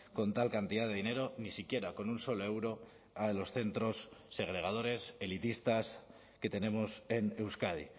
con tal cantidad de dinero ni siquiera con un solo euro a los centros segregadores elitistas que tenemos en euskadi